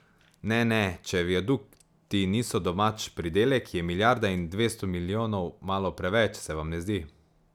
Ne, ne, če viadukti niso domač pridelek, je milijarda in dvesto milijonov malo preveč, se vam ne zdi?